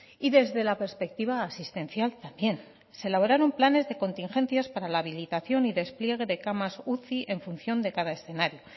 y desde la perspectiva asistencial también se elaboraron planes de contingencias para la habilitación y despliegue de camas uci en función de cada escenario